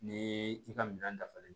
Ni i ka minɛn dafalen